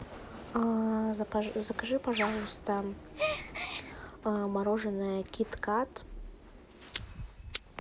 закажи пожалуйста мороженое кит кат